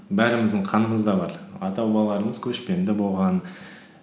бәріміздің қанымызда бар ата бабаларымыз көшпенді болған